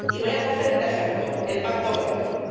Y voy a coger un ejemplo el Pacto Verde Europeo.